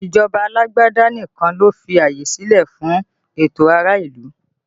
Ìjọba alágbádá nìkan ló fi àyè silẹ fún ẹtọ ará ìlú